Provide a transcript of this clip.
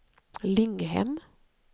Linghem